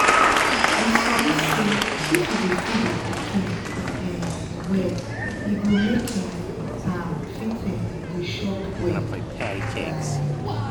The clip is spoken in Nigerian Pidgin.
you sabi say if you dey feed your pikin um well e go make um am fit um dey chop well like